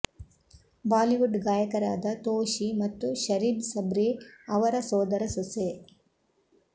Bollywood ಗಾಯಕರಾದ ತೋಶಿ ಮತ್ತು ಶರೀಬ್ ಸಬ್ರಿ ಅವರ ಸೋದರ ಸೊಸೆ